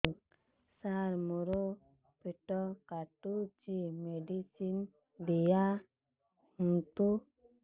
ସାର ମୋର ପେଟ କାଟୁଚି ମେଡିସିନ ଦିଆଉନ୍ତୁ